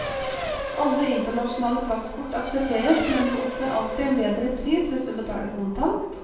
Alle internasjonale plastkort aksepteres, men du oppnår alltid en bedre pris hvis du betaler kontant.